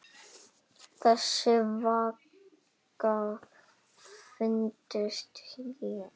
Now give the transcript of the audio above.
Þess vegna fæddist ég.